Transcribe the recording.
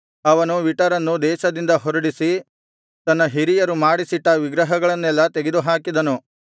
ಅವನು ವಿಟರನ್ನು ದೇಶದಿಂದ ಹೊರಡಿಸಿ ತನ್ನ ಹಿರಿಯರು ಮಾಡಿಸಿಟ್ಟ ವಿಗ್ರಹಗಳನ್ನೆಲ್ಲಾ ತೆಗೆದುಹಾಕಿದನು